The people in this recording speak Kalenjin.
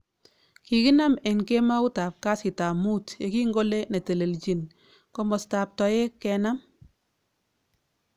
Kikinam en kemaut ab kastab muut yekingole ne telelchin komastab toek kenam